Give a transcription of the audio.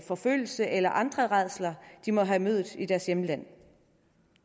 forfølgelse eller andre rædsler de må have mødt i deres hjemland